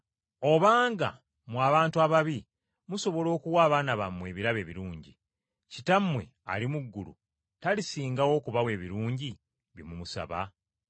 Obanga mmwe abantu ababi musobola okuwa abaana bammwe ebirabo ebirungi, Kitammwe ali mu ggulu talisingawo okubawa ebirungi bye mumusaba?